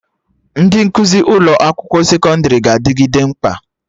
Ndị nkụzi ụlọ akwụkwọ sekọndrị ga-adịgide mkpa